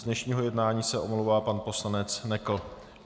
Z dnešního jednání se omlouvá pan poslanec Nekl.